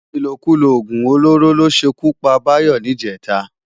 Ilókúló ógún ólóró ló ṣé kú pá Bayo nijètá